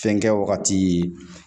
Fɛnkɛ wagati